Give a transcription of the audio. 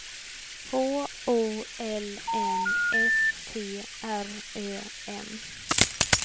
H O L M S T R Ö M